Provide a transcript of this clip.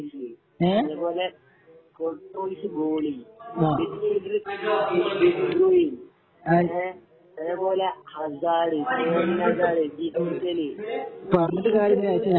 അത് പോലെ Courtois goalie മെസിബല് ഡെബറൂവിൻ എ അതേ പോലെ ഹസാർഡ് കോലിൻ ഹസാർഡ് മീറ്റല് ടീംസ് ഒക്കെ ഫുൾ സെറ്റ് ആണ്